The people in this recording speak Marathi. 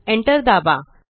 Enter दाबा